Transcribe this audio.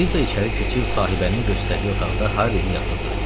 Eliza içəri keçib sahibənin göstərdiyi otaqda Harrini yatızdırdı.